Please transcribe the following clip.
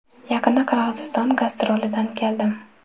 Yaqinda Qirg‘iziston gastrolidan keldim.